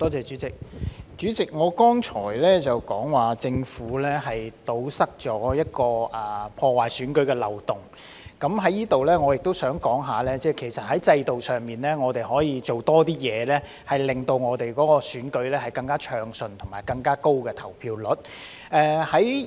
代理主席，我剛才說過政府堵塞了一個破壞選舉的漏洞，我在此也想談談，其實在制度上，我們可以多做一些工作，令選舉更加暢順，並提高投票率。